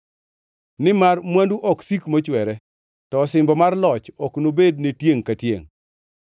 nimar mwandu ok sik mochwere, to osimbo mar loch ok nobed ne tiengʼ ka tiengʼ.